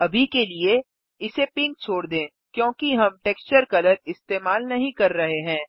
अभी के लिए इसे पिंक छोड़ दें क्योंकि हम टेक्सचर कलर इस्तेमाल नहीं कर रहे हैं